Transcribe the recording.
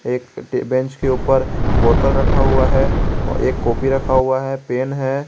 एक बेंच के ऊपर बोतल रखा हुआ है और एक कॉपी रखा हुआ है पेन है।